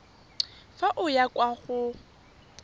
fa o ya kwa go